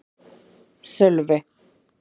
Sölvi